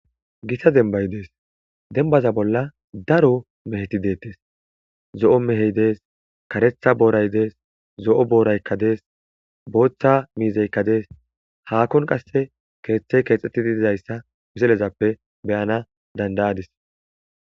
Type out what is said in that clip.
Gitta demba Des dembaza bolla daro meheti bettetes. Zo'o mehey des, karetha boray Des, zo'o borayka de'es otha miziyka de'es ahon qasa kethay kethetidi Des ganaw danda'adis.